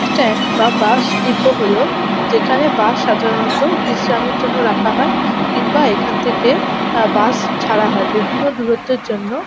বা স্ট্যান্ড বা bus depot হল যেখানে বাস সাধারণত বিশ্রামের জন্য রাখা হয় কিংবা এখান থেকে আহ বাস ছাড়া হয় বিভিন্ন দুরত্তের জন্য।